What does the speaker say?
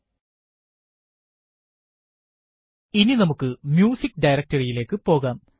homegnuhata വിവരണം slash home slash ഗ്നുഹത ഇനി നമുക്ക് മ്യൂസിക്ക് directory യിലേക്ക് പോകാം